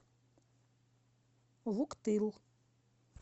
вуктыл